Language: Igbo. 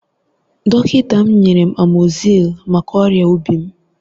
Dọkịta m nyere m amoxicillin maka ọrịa obi m.